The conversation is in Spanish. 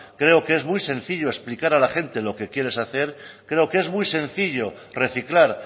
creo que es muy sencillo explicar a la gente lo que quieres hacer creo que es muy sencillo reciclar